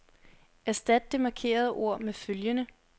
Erstat det markerede ord med følgende.